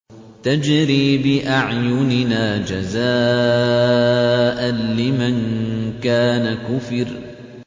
تَجْرِي بِأَعْيُنِنَا جَزَاءً لِّمَن كَانَ كُفِرَ